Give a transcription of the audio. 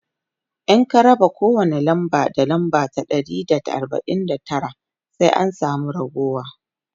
idan ka raba kowani namba da namba ta Dari da arbain da Tara sai an samu raguwa